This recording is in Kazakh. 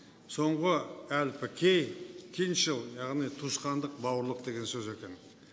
соңғы әрпі к киншл яғни туысқандық бауырлық деген сөз екен